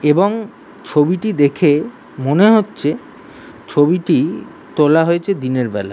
এবং ছবিটি দেখে মনে হচ্ছে ছবিটি তোলা হয়েছে দিনের বেলা।